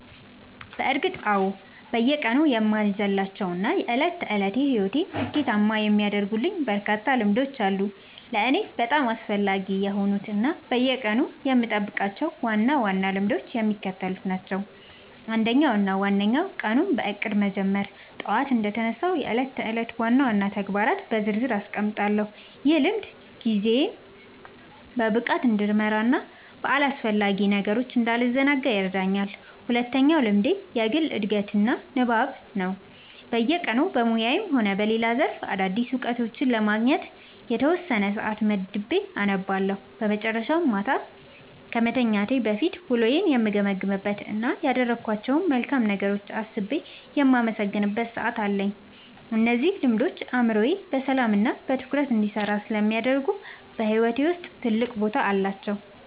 በእርግጥ አዎ፤ በየቀኑ የማልዘልላቸው እና የዕለት ተዕለት ሕይወቴን ስኬታማ የሚያደርጉልኝ በርካታ ልምዶች አሉ። ለእኔ በጣም አስፈላጊ የሆኑት እና በየቀኑ የምጠብቃቸው ዋና ዋና ልምዶች የሚከተሉት ናቸው፦ አንደኛው እና ዋነኛው ቀኑን በእቅድ መጀመር ነው። ጠዋት እንደተነሳሁ የዕለቱን ዋና ዋና ተግባራት በዝርዝር አስቀምጣለሁ፤ ይህ ልምድ ጊዜዬን በብቃት እንድመራና በአላስፈላጊ ነገሮች እንዳልዘናጋ ይረዳኛል። ሁለተኛው ልምዴ የግል ዕድገትና ንባብ ነው፤ በየቀኑ በሙያዬም ሆነ በሌላ ዘርፍ አዳዲስ እውቀቶችን ለማግኘት የተወሰነ ሰዓት መድቤ አነባለሁ። በመጨረሻም፣ ማታ ከመተኛቴ በፊት ውሎዬን የምገመግምበት እና ያደረግኳቸውን መልካም ነገሮች አስቤ የማመሰግንበት ሰዓት አለኝ። እነዚህ ልምዶች አእምሮዬ በሰላምና በትኩረት እንዲሰራ ስለሚያደርጉ በሕይወቴ ውስጥ ትልቅ ቦታ አላቸው።"